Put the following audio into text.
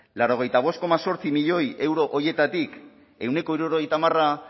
laurogeita bost koma zortzi milioi euro horietatik ehuneko hirurogeita hamarra